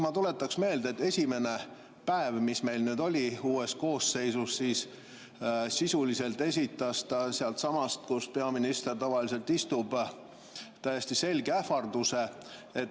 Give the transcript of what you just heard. Ma tuletan meelde, et esimesel päeval, mis meil oli uues koosseisus, sisuliselt esitas ta sealtsamast, kus peaminister tavaliselt istub, täiesti selge ähvarduse.